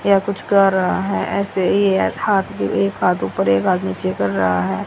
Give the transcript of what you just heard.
यह कुछ कह रहा है ऐसे ये हाथ भी एक हाथ ऊपर एक हाथ नीचे कर रहा है।